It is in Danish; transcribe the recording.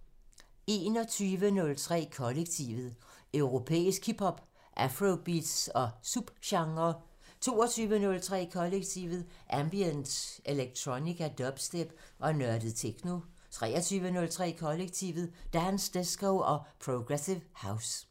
21:03: Kollektivet: Europæisk hip hop, afrobeats og subgenrer 22:03: Kollektivet: Ambient, electronica, dubstep og nørdet techno 23:03: Kollektivet: Dance, disco og progressive house